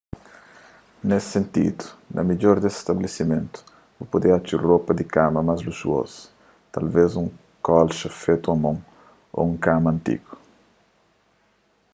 nes sentidu na midjor des stabelesimentu bu pode atxa ropa di kama más luxuozu talvês un kolxa fetu a mon ô un kama antigu